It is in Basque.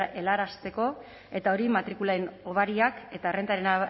helarazteko eta hori matrikulen hobariak eta errentaren